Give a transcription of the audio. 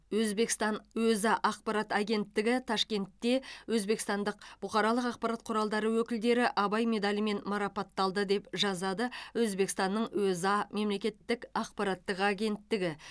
өзбекстан өза ақпарат агенттігі ташкентте өзбекстандық бұқаралық ақпарат құралдары өкілдері абай медалімен марапатталды деп жазады өзбекстанның өза мемлекеттік ақпараттық агенттігі